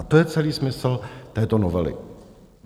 A to je celý smysl této novely.